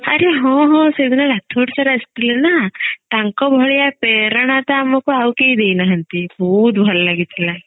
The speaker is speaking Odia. ଆରେ ହଁ ହଁ ଆସେଦିନ ରାଥୋଡ sir ଆସିଥିଲେ ନା ତାଙ୍କ ଭଳିଆ ପ୍ରେରଣା ତ ଆମକୁ ଆଉ କେଇ ଦେଇନାହାନ୍ତି ବହୁତ ଭଲ ଲାଗିଥିଲା